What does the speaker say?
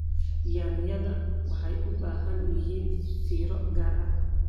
Yaanyada waxay u baahan yihiin fiiro gaar ah.